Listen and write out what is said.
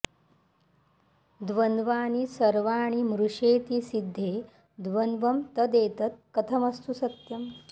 द्वन्द्वानि सर्वाणि मृषेति सिद्धे द्वन्द्वं तदेतत् कथमस्तु सत्यम्